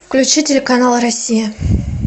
включи телеканал россия